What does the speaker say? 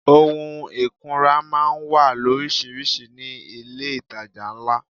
Ohun ìkunra máa ń wà loríṣiríṣi ní ilé itàjà ńlá.